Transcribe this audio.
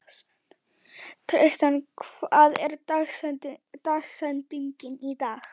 Tristana, hver er dagsetningin í dag?